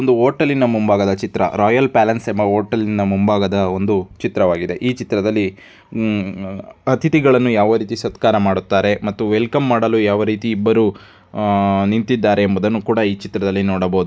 ಇದು ಹೋಟೆಲಿನ ಮುಂಭಾಗದ ಒಂದು ಚಿತ್ರವಾಗಿದೆ ರಾಯಲ್ ಪ್ಯಾಲೇಸ್ ಎಂಬ ಹೋಟೆಲಿನ ಮುಂಭಾಗದ ಒಂದು ಚಿತ್ರವಾಗಿದೆ ಈ ಚಿತ್ರದಲ್ಲಿ ಅತಿಥಿಗಳನ್ನ ಯಾವ ರೀತಿ ಸತ್ಕಾರ ಮಾಡುತ್ತಾರೆ ಮತ್ತು ವೆಲ್ಕಮ್ ಮಾಡಲು ಯಾವ ರೀತಿ ಇಬ್ಬರು ನಿಂತಿದ್ದಾರೆ ಎಂಬುದನ್ನು ಕೂಡ ಈ ಚಿತ್ರದಲ್ಲಿ ನೋಡಬಹುದು.